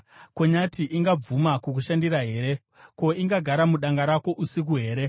“Ko, nyati ingabvuma kukushandira here? Ko, ingagara mudanga rako usiku here?